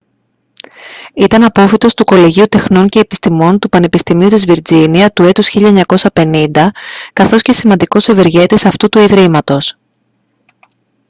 ήταν απόφοιτος του κολεγίου τεχνών και επιστημών του πανεπιστημίου της βιρτζίνια του έτους 1950 καθώς και σημαντικός ευεργέτης αυτού του ιδρύματος